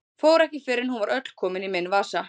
Fór ekki fyrr en hún var öll komin í minn vasa.